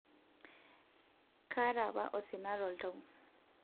kaata apa osina toltau